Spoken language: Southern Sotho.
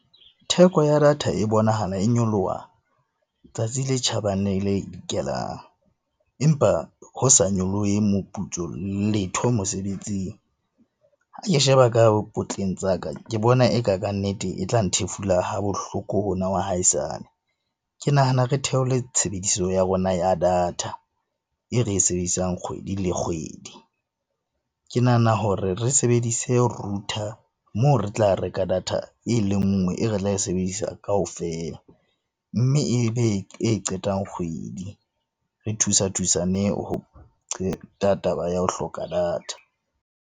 Theko ya data e bonahala e nyoloha tsatsi le tjhabang le le dikelang, empa ho sa nyolohe moputso letho mosebetsing. Ha ke sheba ka potleng tsa ka, ke bona eka kannete e tlang nthefula ha bohloko hona wa haesale. Ke nahana re theole tshebediso ya rona ya data e re e sebedisang kgwedi le kgwedi. Ke nahana hore re sebedise router moo re tla reka data e le nngwe, e re tla e sebedisa kaofela mme e be e qetang kgwedi re thusa thusaneng ho qeta taba ya ho hloka data.